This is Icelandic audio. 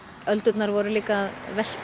öldurnar voru að velta